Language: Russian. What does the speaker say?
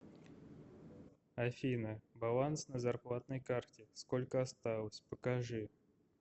афина баланс на зарплатной карте сколько осталось покажи